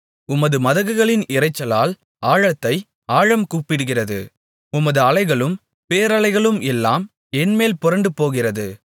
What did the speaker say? உமது மதகுகளின் இரைச்சலால் ஆழத்தை ஆழம் கூப்பிடுகிறது உமது அலைகளும் பேரலைகளும் எல்லாம் என்மேல் புரண்டுபோகிறது